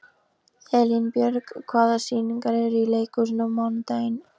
Elínbjörg, hvaða sýningar eru í leikhúsinu á mánudaginn?